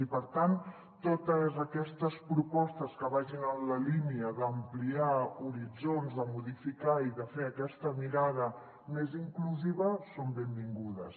i per tant totes aquestes propostes que vagin en la línia d’ampliar horitzons de modificar i de fer aquesta mirada més inclusiva són benvingudes